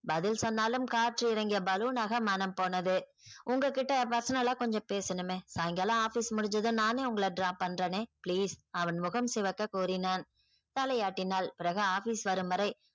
பதில் சொன்னாலும் காற்று இறங்கிய balloon னாக மனம் போனது உங்க கிட்ட personal ஆ கொஞ்சம் பேசணுமே சாயங்காலம் office முடிஞ்சதும் நானே உங்கள drop பண்றனே please அவன் முகம் சிவக்க கூறினான். தலையாட்டினாள் பிறகு office வரும்வரை